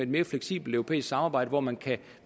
mere fleksibelt europæisk samarbejde hvor man kan